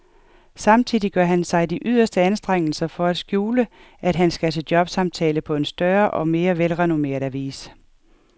Samtidig gør han sig de yderste anstrengelser for at skjule, at han skal til jobsamtale på en større og mere velrenommeret avis.